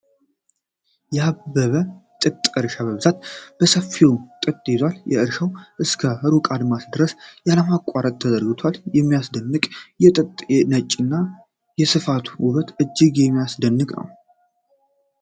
ያበበ የጥጥ እርሻ በብዛት በሰፊው ጥጥ ይዟል ። እርሻው እስከ ሩቅ አድማስ ድረስ ያለማቋረጥ ተዘርግቷል ። ሲያስደንቅች! የጥጡ ነጭነትና የስፋቱ ውበት እጅግ የሚያስደንቅ ነው ።